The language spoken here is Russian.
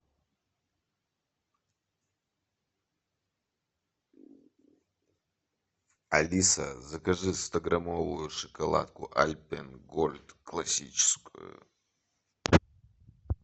алиса закажи стограммовую шоколадку альпен гольд классическую